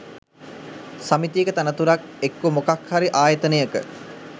සමිතියක තනතුරක් එක්කෝ මොකක් හරි ආයතනයක